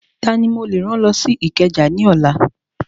Tani mo lè rán lọ sí Ìkẹjà ní ọ̀la?